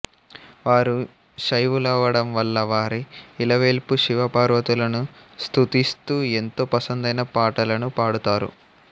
వారు శైవులవడం వల్లా వారి ఇలవేల్పు శివ పార్వతులను స్తుతిస్తూ ఎంతో పసందైన పాటలను పాడుతారు